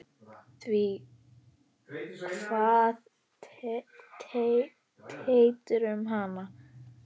Því kvað Teitur um hana